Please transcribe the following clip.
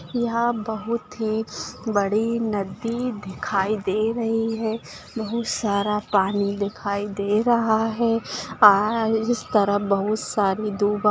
यहा बहुत ही बड़ी नदी दिखाई दे रही है बहुत सारा पानी दिखाई दे रहा है और इस तरफ बहुत सारी दु --